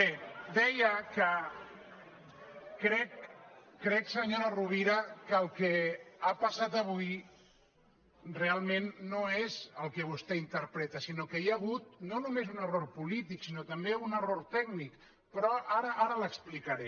bé deia que crec senyora rovira que el que ha pas·sat avui realment no és el que vostè interpreta sinó que hi ha hagut no només un error polític sinó tam·bé un error tècnic però ara l’explicaré